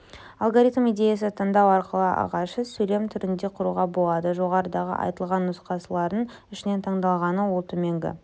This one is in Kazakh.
алгоритм идеясы таңдау арқылы ағашы сөйлем түрінде құруға болады жоғарыдағы айтылған нұсқалардың ішінен таңдалғаны ол төменгі